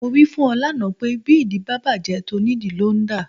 Mo wí fún ẹ lánàá pé bí ìdí bá bàjẹ́, tónìdìí ló ń dà.